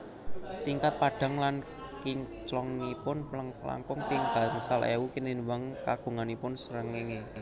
Tingkat padhang lan kinclongipun langkung ping gangsal ewu tinimbang kagunganipun srengéngé